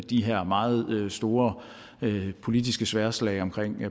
de her meget store politiske sværdslag om